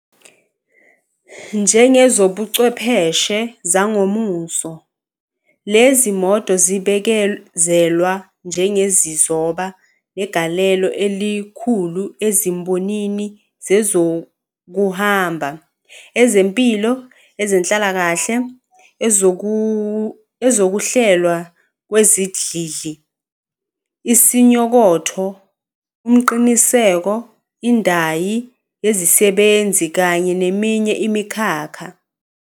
Njengezobuchwepheshe zangomuso, lezi moto zibikezelwa njengezizoba negalelo elikhulu ezimbonini zezokuhamba, ezempilo, ezenhlakakahle, ezokuhlelwa kwezidlidli, isinyokotho, umqiniseko, indayi yezisebenzi kanye neminye imikhakha.